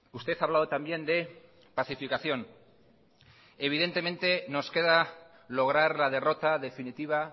usted ha hablado también de pacificación nos queda lograr la derrota definitiva